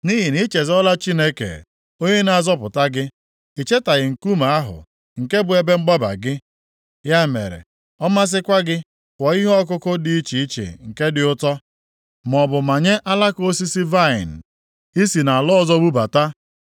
Nʼihi na ị chezọla Chineke onye na-azọpụta gị. I chetaghị Nkume ahụ, nke bụ ebe mgbaba gị. Ya mere, ọ masịkwa gị kụọ ihe ọkụkụ dị iche iche nke dị ụtọ, maọbụ manye alaka osisi vaịnị ị si nʼala ọzọ bubata,